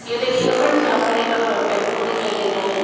ये देखिएगा फ्रेंड्स यहां पर एक टेंपो दिखाई दे रहा है।